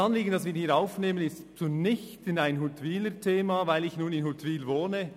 Das Anliegen, das wir damit aufnehmen, ist für mich nicht nur ein Huttwiler Thema, weil ich in Huttwil wohne.